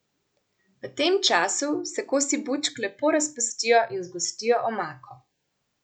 V tem času se kosi bučk lepo razpustijo in zgostijo omako.